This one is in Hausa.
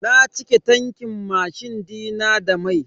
Na cike tankin mashin dina da mai.